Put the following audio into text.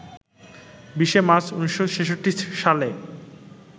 ২০শে March ১৯৬৬ সালে